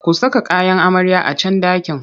Ku saka kayan amaryar a can ɗakin!